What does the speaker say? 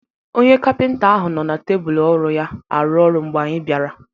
Onye Kapịnta ahụ nọ na tebụl ọrụ ya arụ ọrụ mgbe anyị bịara.